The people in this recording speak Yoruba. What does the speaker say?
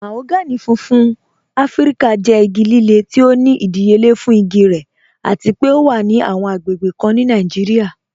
Mahogany fúnfún Afíríkà jẹ́ igi lílẹ̀ tí ó ní ìdíyélé fún igi rẹ̀ àti pé ọ wà ní awọn agbègbè kàn ní Nàìjíríà.